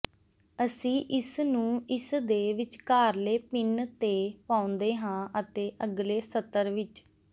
ਅਸੀਂ ਇਸਨੂੰ ਇਸਦੇ ਵਿਚਕਾਰਲੇ ਪਿੰਨ ਤੇ ਪਾਉਂਦੇ ਹਾਂ ਅਤੇ ਅਗਲੇ ਸਤਰ ਵਿੱਚ